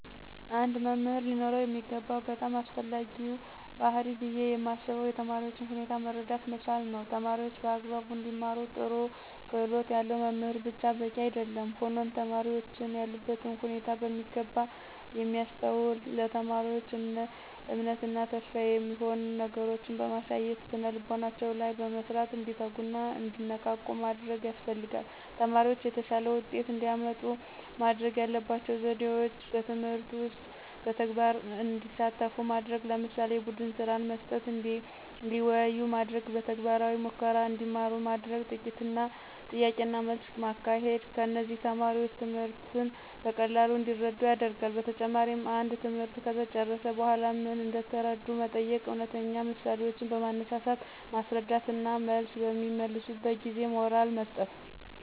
አንድ መምህር ሊኖረው የሚገባው በጣም አስፈላጊው ባህሪይ ብየ ማስበው የተማሪዎችን ሁኔታ መረዳት መቻል ነዉ። ተማሪዎች በአግባቡ እንዲማሩ ጥሩ ክህሎት ያለው መምህር ብቻ በቂ አይደለም ሆኖም ተማሪዎችን ያሉበትን ሁኔታ በሚገባ የሚያስተውል፣ ለተማሪዎች እምነት እና ተስፋ የሚሆኑ ነገሮችን በማሳየት ስነልቦናቸው ላይ በመስራት እንዲተጉና እንዲነቃቁ ማድረግ ያስፈልጋል። ተማሪዎች የተሻለ ውጤት እንዲያመጡ ማድረግ ያለባቸው ዘዴዎች በትምህርት ውስጥ በተግባር እንዲሳተፉ ማድረግ ለምሳሌ፦ የቡድንስራ መስጠት፣ እንዲወያዩ ማድረግ፣ በተግባራዊ ሙከራ እንዲማሩ ማድረግ፣ ጥያቄና መልስ ማካሄድ እነዚህም ተማሪዎች ትምህርትን በቀላሉ እንዲረዱት ያደርጋል። በተጨማሪም አንድ ትምህርት ከተጨረሰ በኃላ ምን እንደተረዱ መጠየቅ፣ እውነተኛ ምሳሌዎችን በማንሳት ማስረዳት እና መልስ በሚመልሱበት ጊዜ ሞራል መስጠት።